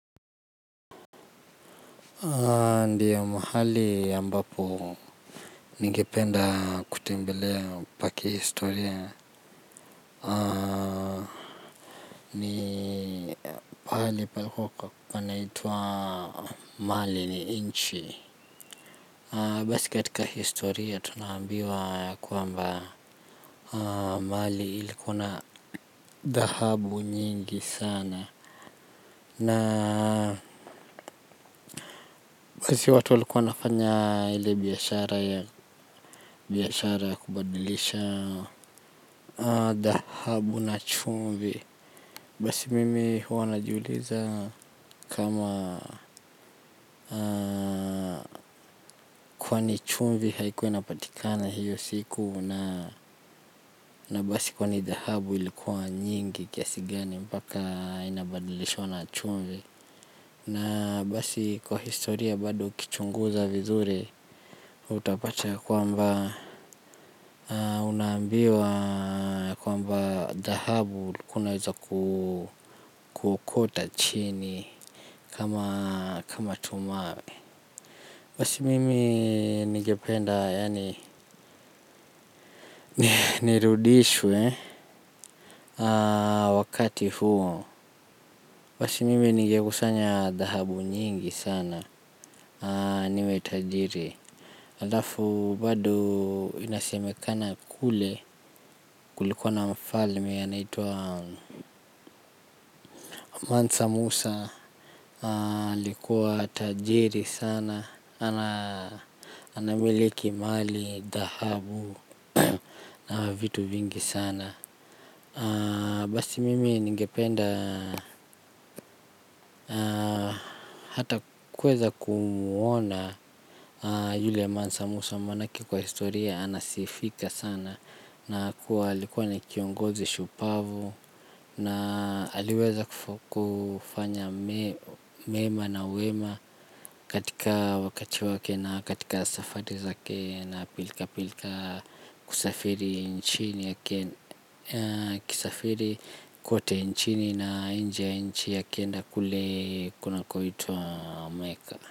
Ndiyo mahali ya mbapo ningipenda kutembelea pa ki historia ni mahali palikua kwa naitwa mali ni nchi basi kitika historia tunambiwa kuamba mali ilikuna dhahabu nyingi sana na kasi watu walikuwa nafanya ile biashara ya biashara ya kubadilishana dahabu na chumvi. Basi mimi huwa najiuliza kama kwani chumvi haikuwa inapatikana hiyo siku. Na basi kwani dhahabu ilikuwa nyingi kiasi gani mpaka inabadilishwa na chumvi. Na basi kwa historia bado ukichunguza vizuri utapata ya kwamba unaambiwa kwamba dhahabu ulikuwa naweza kuokota chini kama tu mawe. Basi mimi ningependa yani nirudishwe wakati huo. Basi mimi ningekusanya dhahabu nyingi sana niwe tajiri. Halafu bado inasemekana kule kulikuwa na mfalme anaitwa mansa musa alikuwa tajiri sana. Anamiliki mali, dhahabu na vitu vingi sana. Basi mimi ningependa hata kuweza kumuona yule mansa musa manake kwa historia anasifika sana na kuwa alikuwa ni kiongozi shupavu. Na aliweza kufanya mema na wema katika wakati wake na katika safari zake. Na pilika pilika kusafiri nchini akienda kule kuna kunakoitwa meka.